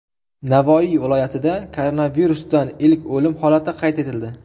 Navoiy viloyatida koronavirusdan ilk o‘lim holati qayd etildi.